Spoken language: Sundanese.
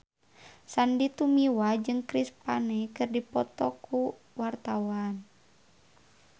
Sandy Tumiwa jeung Chris Pane keur dipoto ku wartawan